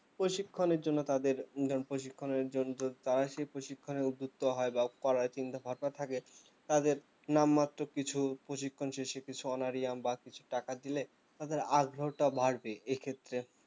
প্রশিক্ষণের জন্য তাদের ধরুন প্রশিক্ষণের জ~ জন্য তারা সেই প্রশিক্ষণে উদ্বিত্য হয় বা করার চিন্তাভাবনা থাকে তাদের নামমাত্র কিছু প্রশিক্ষণ শেষে কিছু honorarium বা কিছু টাকা দিলে তাদের আশ ভাবটা বাড়বে এক্ষেত্রে